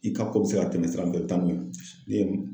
I ka ko be se ka tɛmɛ sira mun fɛ , i bi taa n'o ye.